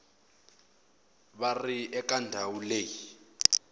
va ri eka ndhawu leyi